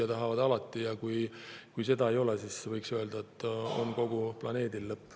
Kui ei oleks, siis võiks öelda, et kogu planeedil on lõpp.